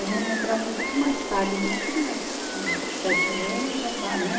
A gente entrava um pouco mais tarde, não é que nem aqui, que sete anos já está, né?